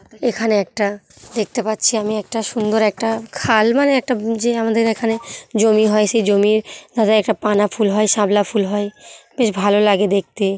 এখানে একটা দেখতে পাচ্ছি আমি একটা সুন্দর একটা খাল মানে -এ একটা যে আমাদের এখানে জমি হয় সে জমির একটা পানা ফুল হয় শাপলা ফুল হয় বেশ ভালো লাগে দেখতে।